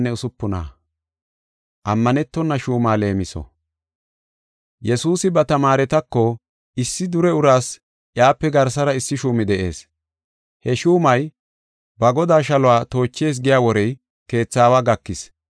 Yesuusi ba tamaaretako, “Issi dure uraas iyape garsara issi shuumi de7ees. He shuumay ba godaa shaluwa toochees giya worey keetha aawa gakis.